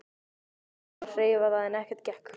Reynt var að hreyfa það en ekkert gekk.